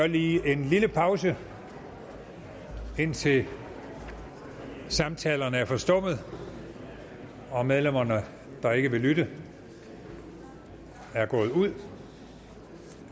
lige en lille pause indtil samtalerne er forstummet og medlemmer der ikke vil lytte er gået ud